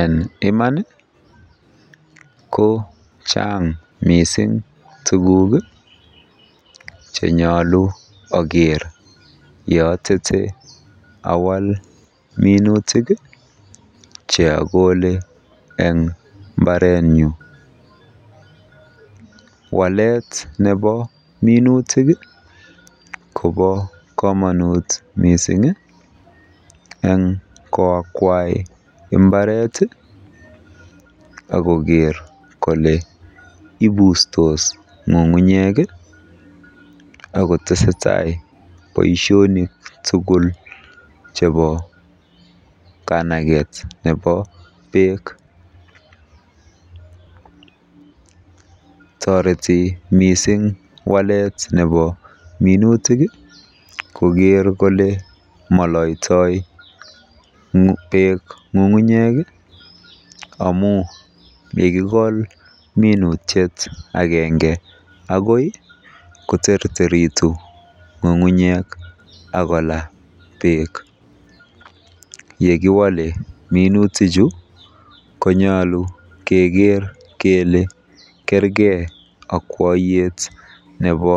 En iman kochang msiing tuguk che nyolu ogere ye otete awal minutiik che okole en mbarenyun, walet nebo minutik kobo komonut mising en koakwai mbaret ak koger kole ibustos ng'ng'unyek agotesetai bosionikk tuugl chebo kanaget nebo beek. Toreti mising walet nebo minutik koger kole moloitoi beek ng'ung'unyek amun ye kigol minutiet agenge akoi koterteritu ng'ung'unyek ak kolaa beek ye kiwole minutik chu konyolu keger kele kerge akwoyet nebo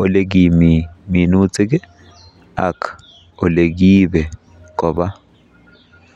olekimi minutik ak kole kiibe koba.